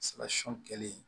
kɛlen